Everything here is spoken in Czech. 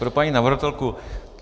Pro paní navrhovatelku.